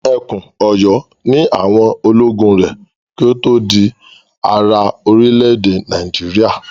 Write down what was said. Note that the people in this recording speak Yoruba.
Ẹkùn Ọ̀yọ́ ni àwọn ológun rẹ̀ kí ó tó di ara orílẹ̀-èdè Nàìjíríà.